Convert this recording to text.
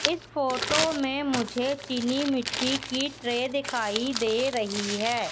इस फोटो में मुझे चीनी मिट्टी की ट्रे दिखाई दे रही है।